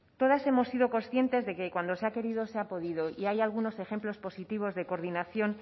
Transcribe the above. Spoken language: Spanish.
todas hemos sido conscientes de que cuando se ha querido se ha podido y hay algunos ejemplos positivos de coordinación